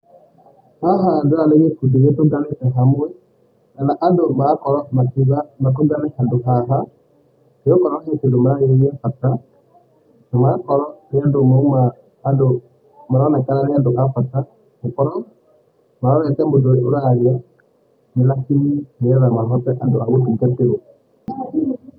Haha ndĩrona nĩ gĩkundi gĩtũnganĩte hamwe, kana andũ marakorwo makiuga makũjane handũ haha, nĩgũkorwo hena kĩndũ mararĩrĩ gĩabata na magakorwo nĩ andũ mauma andũ maronekana nĩandũ a bata, gũkorwo marorete mũndũ araria nakinyi nĩũndũ wa gũtungatĩrwo.